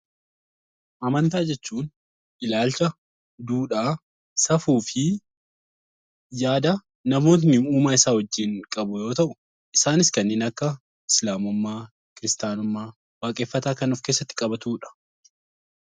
Amantaa jechuun ilaalcha, duudhaa, safuu fi yaada namootni uumaa isaa wajjin qabu yoo ta'u, isaanis kanneen akka Islaamummaa, Kristiyaanummaa, Waaqeffataa kan of keessatti qabatu dha.